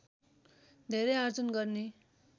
धेरै आर्जन गर्ने